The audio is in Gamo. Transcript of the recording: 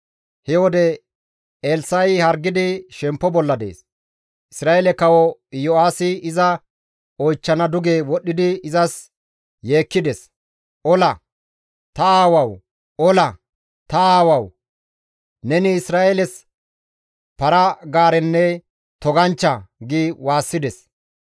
He wode Elssa7i hargidi shemppo bolla dees. Isra7eele kawo Iyo7aasi iza oychchana duge wodhdhidi izas yeekkides; «Ola! Ta aawawu! Ola! Ta aawawu! Neni Isra7eeles para-gaarenne toganchcha!» gi waassides.